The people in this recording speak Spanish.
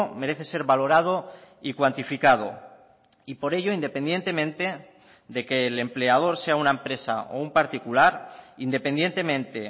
merece ser valorado y cuantificado y por ello independientemente de que el empleador sea una empresa o un particular independientemente